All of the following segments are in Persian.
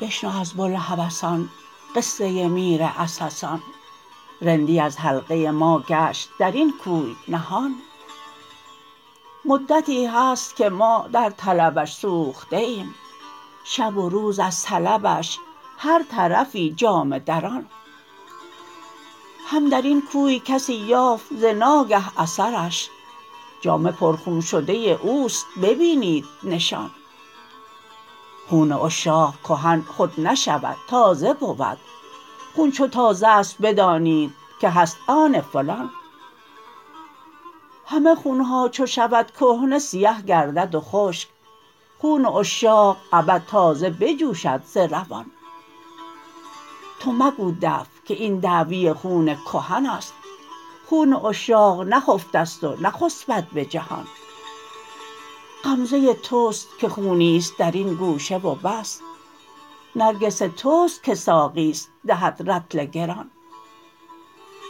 بشنو از بوالهوسان قصه میر عسسان رندی از حلقه ما گشت در این کوی نهان مدتی هست که ما در طلبش سوخته ایم شب و روز از طلبش هر طرفی جامه دران هم در این کوی کسی یافت ز ناگه اثرش جامه پرخون شده او است ببینید نشان خون عشاق کهن خود نشود تازه بود خون چو تازه است بدانید که هست آن فلان همه خون ها چو شود کهنه سیه گردد و خشک خون عشاق ابد تازه بجوشد ز روان تو مگو دفع که این دعوی خون کهن است خون عشاق نخفته ست و نخسبد به جهان غمزه توست که خونی است در این گوشه و بس نرگس توست که ساقی است دهد رطل گران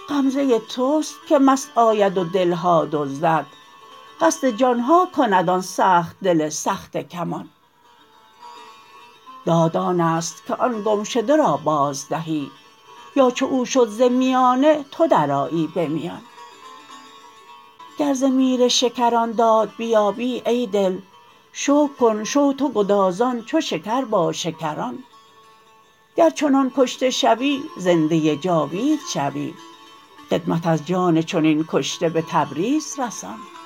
غمزه توست که مست آید و دل ها دزدد قصد جان ها کند آن سخت دل سخته کمان داد آن است که آن گمشده را بازدهی یا چو او شد ز میانه تو درآیی به میان گر ز میر شکران داد بیابی ای دل شکر کن شو تو گدازان چو شکر با شکران گر چنان کشته شوی زنده جاوید شوی خدمت از جان چنین کشته به تبریز رسان